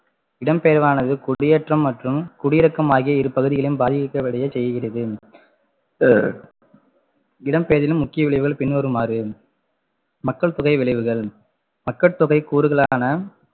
இடம்பெயர்வானது குடியேற்றம் மற்றும் குடியிருக்கும் ஆகிய இருபகுதிகளை பாதி செய்கிறது இடம்பெயர்தலில் முக்கிய விளைவுகள் பின்வருமாறு மக்கள் தொகை விளைவுகள் மக்கள்தொகை கூறுகளான